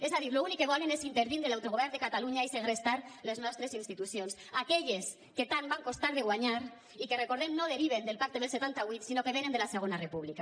és a dir l’únic que volen és intervindre l’autogovern de catalunya i segrestar les nostres institucions aquelles que tant van costar de guanyar i que recordem ho no deriven del pacte del setanta vuit sinó que venen de la segona república